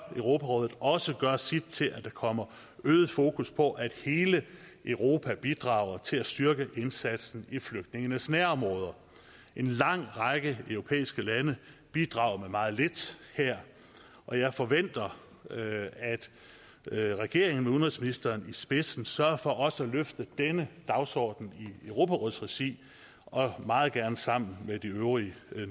europarådet også gøre sit til at der kommer øget fokus på at hele europa bidrager til at styrke indsatsen i flygtningenes nærområder en lang række europæiske lande bidrager her med meget lidt og jeg forventer at regeringen med udenrigsministeren i spidsen sørger for også at løfte denne dagsorden i europarådets regi og meget gerne sammen med de øvrige